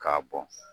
K'a bɔn